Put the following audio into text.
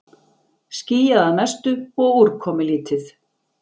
Skýjað að mestu og úrkomulítið